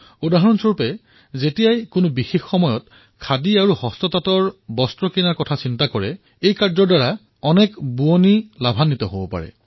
যিদৰে বিশেষ উপলক্ষসমূহত খাদী আৰু হস্ততাঁতৰ সামগ্ৰী ক্ৰয় কৰাৰ বাবে চিন্তা কৰা হয় ইয়াৰ দ্বাৰা অনেক শিপিনীয়ে সাহায্য পায়